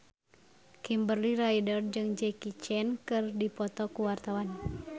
Kimberly Ryder jeung Jackie Chan keur dipoto ku wartawan